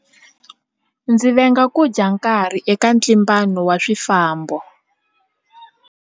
Ndzi venga ku dya nkarhi eka ntlimbano wa swifambo.